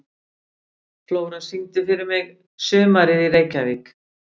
Flóra, syngdu fyrir mig „Sumarið í Reykjavík“.